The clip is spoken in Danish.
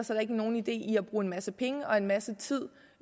der ikke nogen idé i at bruge en masse penge og en masse tid